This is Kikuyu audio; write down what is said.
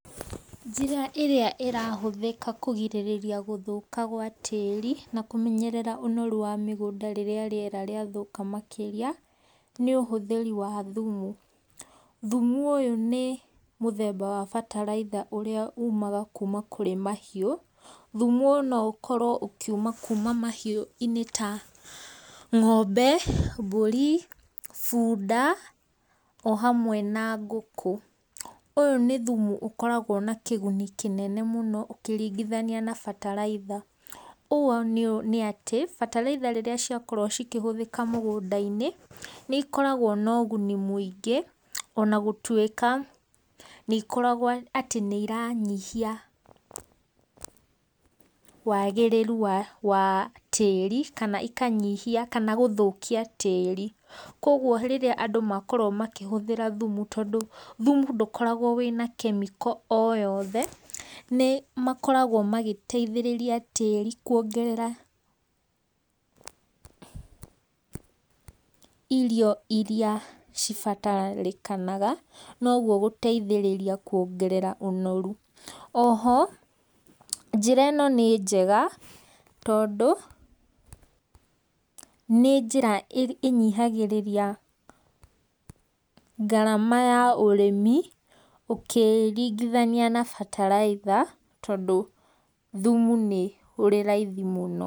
Njĩra ĩrĩa ĩrahũthĩka kũgirĩrĩria gũthoka gwa tĩri na kũmenyerera ũnoru wa mĩgũnda rĩrĩa rĩathũka makĩrĩa nĩ ũhũthĩri wa thumu, thumu ũyũ nĩ mũthemba wa mbataraitha ũrĩa umaga kuma kũrĩ mahiũ thumu ũyũ no ũkorwo ũkiũma kũma kũrĩ mahiũ-inĩ ta ng'ombe mbũri bunda ohamwe na ngũkũ, ũyũ nĩ thumu ũkoragwo na kĩguni kĩnene mũno ũkĩringithania na mbataraitha, ũũ nĩ atĩ mbataraitha rĩrĩa ciakorwo cikĩhũthĩka mũgũnda-inĩ nĩ ikoragwo na ũguni mwingĩ ona gũtũika nĩ ikoragwo atĩ nĩ iranyihia wagĩrĩru wa tĩri kana ikanyihia kana gũthokia tĩri kogũo rĩrĩa andũ makorowo makĩhũthĩra thumu tondũ thumu ndũkoragwo na kemiko o yothe nĩ makoragwo magĩteithĩrĩria tiri kũongerera irio irĩa cibataranĩkaga nogũo gũteithĩrĩa kũongerera ũnoru, oho njĩra ĩno nĩ njega tondũ nĩ njĩra ĩnyihagĩrĩria ngarama ya ũrĩmi ũkĩringithania na mbataraitha tondũ thumu ni ũrĩ raithi mũno.